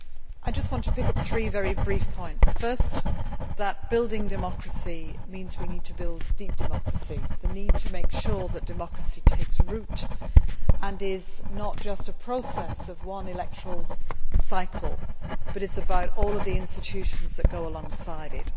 I just want to bring up three very brief points. First, that building democracy means we need to build deep democracy. We need to make sure that democracy takes root and is not just a process of one electoral cycle, but it is about all of the institutions that go alongside it.